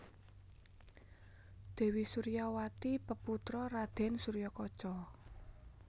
Dèwi Suryawati peputra Raden Suryakaca